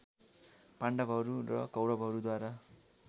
पाण्डवहरू र कौरवहरूद्वारा